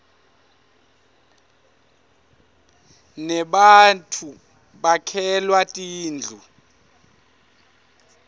nebattfu bakhelwa tindlu